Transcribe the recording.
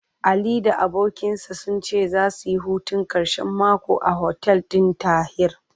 Ali da abokinsa sun ce zasu yi hutun ƙarshen mako a hotel ɗin Tahir.